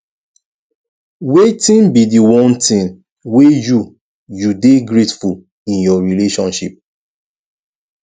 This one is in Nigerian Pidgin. wetin be di one thing wey you you dey grateful in your relationship